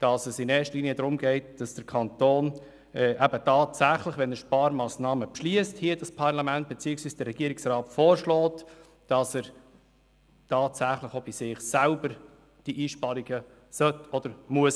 Es geht in erster Linie darum, dass der Kanton beim Beschliessen von Sparmassnahmen tatsächlich auch bei sich selber Einsparungen vornimmt.